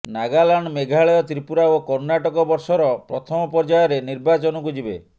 ନାଗାଲାଣ୍ଡ ମେଘାଳୟ ତ୍ରିପୁରା ଓ କର୍ଣ୍ଣାଟକ ବର୍ଷର ପ୍ରଥମ ପର୍ଯ୍ୟାୟରେ ନିର୍ବାଚନକୁ ଯିବେ